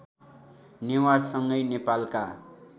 नेवारसँगै नेपालका